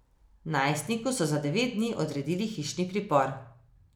Najstniku so za devet dni odredili hišni pripor.